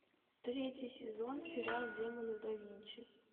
третий сезон сериал демоны да винчи